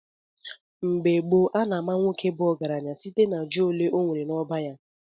Mgbe gboo, a na-ama nwoke bu ọgaranya site na ji ole ọnwere n’ọba ya.